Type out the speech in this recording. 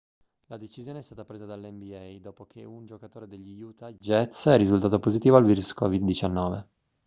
la decisione è stata presa dalla nba dopo che un giocatore degli utah jazz è risultato positivo al virus covid-19